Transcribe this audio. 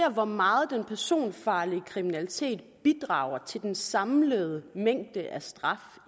hvor meget den personfarlige kriminalitet bidrager til den samlede mængde straf